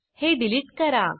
हे डिलिट करा